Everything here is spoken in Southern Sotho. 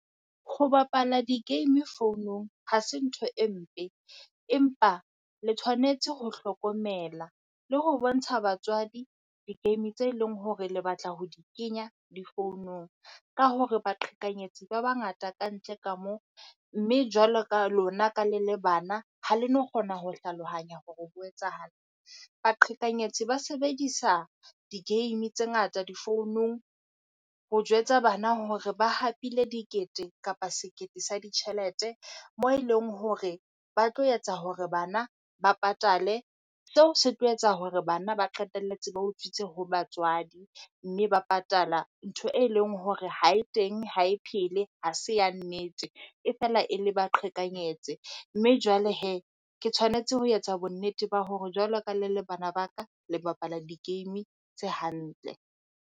Ho bapala di-game founong ha se ntho e mpe, empa le tshwanetse ho hlokomela le ho bontsha batswadi di-game tse leng hore le batla ho di kenya difounong. Ka hore baqhekanyetsi ba bangata ka ntle ka mo, mme jwalo ka lona ka le le bana, ha le no kgona ho hlalohanya hore o ho etsahala. Baqhekanyetsi ba sebedisa di-game tse ngata di founong ho jwetsa bana hore ba hapile dikete kapa sekete sa ditjhelete. Mo eleng hore ba tlo etsa hore bana ba patale, seo se tlo etsa hore bana ba qetelletse ba utswitse ho batswadi. Mme ba patala ntho e leng hore ha e teng ha e phele ha se ya nnete, e fela e le baqhekanyeditse, mme jwale he ke tshwanetse ho etsa bonnete ba hore jwalo ka le le bana ba ka le bapala di-game tse hantle.